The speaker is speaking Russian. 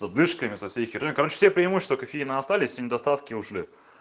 с отдышками со всей херней все преимущества кофеина остались и недостатки ушли